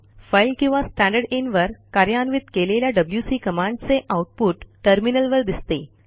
file किंवा स्टँडरदिन वर कार्यान्वित केलेल्या wcकमांडचे आऊटपुट टर्मिनलवर दिसते